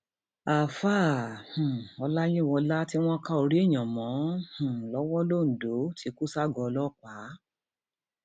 àfàá um ọláyíwọlá tí wọn ká orí èèyàn mọ um lọwọ londo ti kú ságọọ ọlọpàá